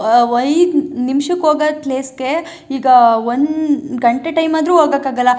ಆ ಐದು ನಿಮ್ಸುಕೋಗೋ ಪ್ಲೇಸ್ ಗೆ ಈಗ ಒಂದು ಗಂಟೆ ಟೈಮ್ ಅಂದ್ರು ಹೋಗೋಕೆ ಆಗಲ್ಲ.